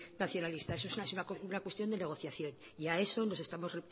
nacionalista eso es una cuestión de negociación y